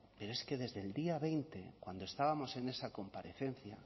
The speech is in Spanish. pero es que desde el día veinte cuando estábamos en esa comparecencia